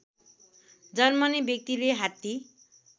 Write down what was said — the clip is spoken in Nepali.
जन्मने व्यक्तिले हात्ती